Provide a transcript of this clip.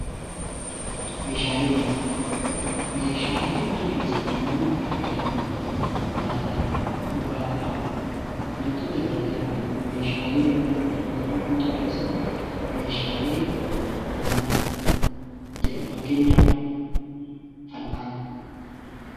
Meeshaalee mana keessatti namni itti fayyadamu nyaataaf, dhugaatiidhaaf wantoota gara garaatiif meeshaalee namoonni mana keessatti itti fayyadaman meeshaalee manaa jedhamu. Akka fakkeenyaatti fal'aana kaasuu ni dandeenya.